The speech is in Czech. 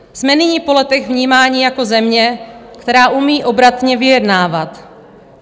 Jsme nyní po letech vnímání jako země, která umí obratně vyjednávat.